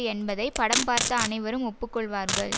என்பதை படம் பார்த்த அனைவரும் ஒப்பு கொள்வார்கள்